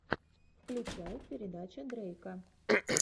включай передача дрейка